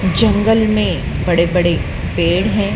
जंगल में बड़े बड़े पेड़ है।